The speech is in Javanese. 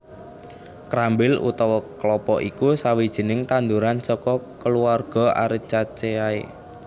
Krambil utawa klapa iku sawijining tanduran saka kulawarga Arecaceae